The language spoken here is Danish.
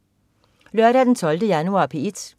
Lørdag den 12. januar - P1: